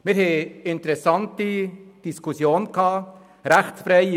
Wir haben interessante Diskussionen geführt.